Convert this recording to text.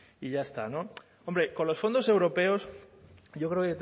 y ya está no hombre con los fondos europeos yo creo